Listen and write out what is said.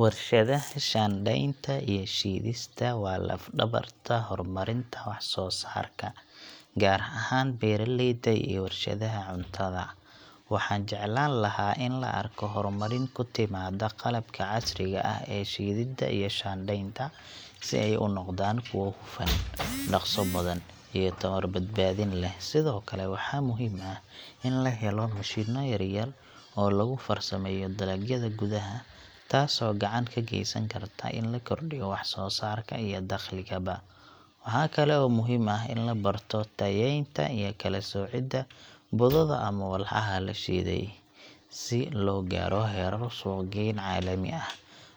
Warshadaha shaandhaynta iyo shiidista waa laf-dhabarta horumarinta wax-soo-saarka, gaar ahaan beeralayda iyo warshadaha cuntada. Waxaan jeclaan lahaa in la arko horumarin ku timaada qalabka casriga ah ee shiididda iyo shaandhaynta si ay u noqdaan kuwo hufan, dhaqso badan, iyo tamar-badbaadin leh. Sidoo kale, waxaa muhiim ah in la helo mashiinno yar-yar oo lagu farsameeyo dalagyada gudaha, taasoo gacan ka geysan karta in la kordhiyo wax-soo-saarka iyo dakhligaba. Waxaa kale oo muhiim ah in la barto tayeynta iyo kala-soocidda budada ama walxaha la shiiday, si loo gaaro heerar suuq-geyn caalami ah.